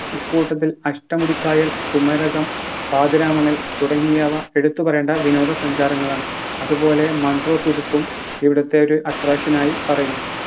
ഇക്കൂട്ടത്തിൽ അഷ്ടമുടിക്കായൽ കുമരകം പാതിരാമണൽ തുടങ്ങിയവ എടുത്തു പറയേണ്ട വിനോദ സഞ്ചാരങ്ങളാണ് അതുപോലെ ഇവിടുത്തെ ഒരു attraction ആയി പറയുന്നു